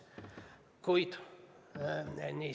See oli, niisiis, neljas.